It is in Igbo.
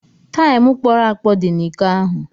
Taịm kpọrọ akpọ dị n'iko ahụ.